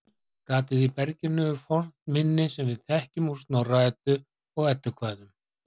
Gatið í berginu er fornt minni sem við þekkjum úr Snorra-Eddu og Eddukvæðum.